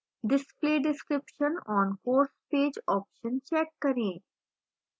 display description on course page option check करें